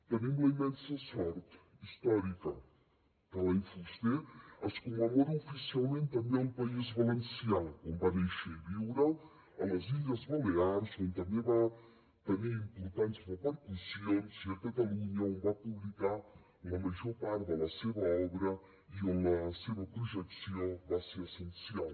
tenim la immensa sort històrica que l’any fuster es commemora oficialment també al país valencià on va néixer i viure a les illes balears on també va tenir importants repercussions i a catalunya on va publicar la major part de la seva obra i on la seva projecció va ser essencial